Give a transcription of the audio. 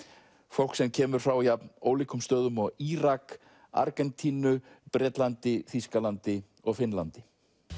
fólk sem kemur frá jafn ólíkum stöðum og Írak Argentínu Bretlandi Þýskalandi og Finnlandi